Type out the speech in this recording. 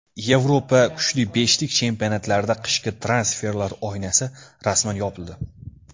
Yevropa kuchli beshlik chempionatlarida qishki transferlar oynasi rasman yopildi.